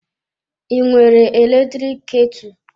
I nwere eletrik ketụ?